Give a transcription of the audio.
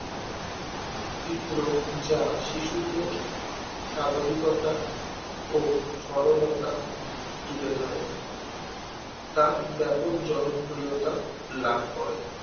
চিত্র যা শিশুদের স্বাভাবিকতা ও সরলতা তুলে ধরে তা ব্যাপক জনপ্রিয়তা লাভ করে